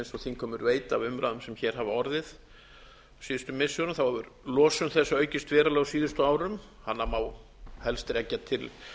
þingheimur veit af umræðum sem hér hafa orðið síðustu missirum hefur losun þess aukist verulega á síðustu árum hana má helst rekja til